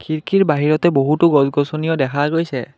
খিৰকীৰ বাহিৰতে বহুতো গছ গছনিও দেখা গৈছে।